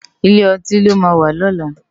Ilé òtín lò má wà lòlá